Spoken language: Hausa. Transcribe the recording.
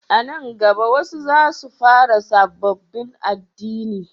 A nan gaba wasu za su fara sabobbin addini